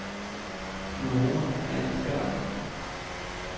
Nora Handberg